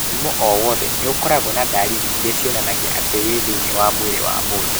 Mũrimũ o wothe nĩ ũkoragwo na dariri iria cionanagia atĩ wĩ thĩinĩ wa mwĩrĩ wa mũndũ.